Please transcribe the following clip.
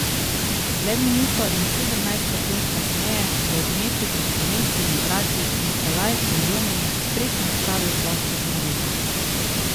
Le minuto in sedemnajst sekund kasneje je v gneči pred slovenskimi vrati Nikolaj Kuljomin spretno spravil plošček v mrežo.